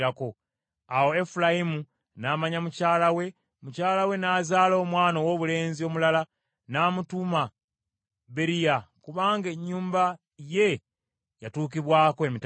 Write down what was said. Awo Efulayimu n’amanya mukyala we, mukyala we n’azaala omwana owoobulenzi omulala, n’amutuuma Beriya kubanga ennyumba ye yatuukibwako emitawaana.